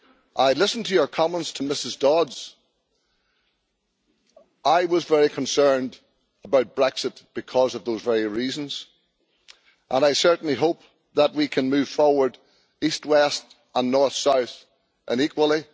I listened to your comments, Ms Dodds. I was very concerned about Brexit for those very reasons, and I certainly hope that we can move forward, east west, north south and equally.